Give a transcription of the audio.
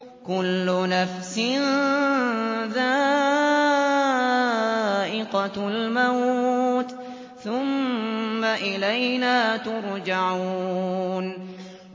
كُلُّ نَفْسٍ ذَائِقَةُ الْمَوْتِ ۖ ثُمَّ إِلَيْنَا تُرْجَعُونَ